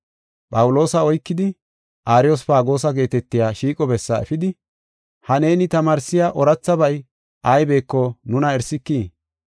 Phawuloosa oykidi Ariyospagoosa geetetiya shiiqo bessaa efidi, “Ha neeni tamaarsiya oorathabay aybeko nuna erisikii?